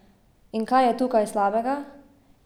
In kaj je tukaj slabega?